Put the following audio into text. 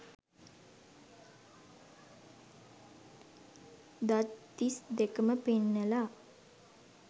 දත් තිස් දෙකම පෙන්නලා